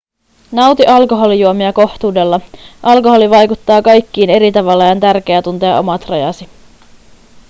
nauti alkoholijuomia kohtuudella alkoholi vaikuttaa kaikkiin eri tavalla ja on tärkeää tuntea omat rajasi